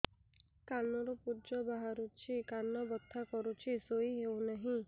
କାନ ରୁ ପୂଜ ବାହାରୁଛି କାନ ବଥା କରୁଛି ଶୋଇ ହେଉନାହିଁ